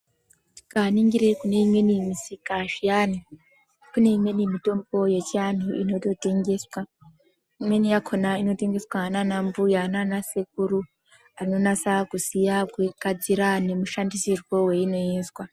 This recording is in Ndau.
Tikaningire kune imweni misika zviyani kune imweni mitombo yechianhu inototengeswa. Imweni yakona inototengeswa naanambuya naanasekuru anonasa kuziya kuigadzira nemushandisirwe weinoizwa